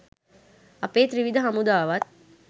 අපේ ත්‍රිවිධ හමුදාවත්